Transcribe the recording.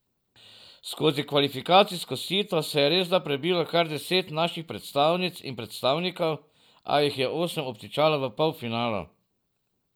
Skozi kvalifikacijsko sito se je resda prebilo kar deset naših predstavnic in predstavnikov, a jih je osem obtičalo v polfinalu.